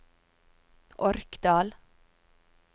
Orkdal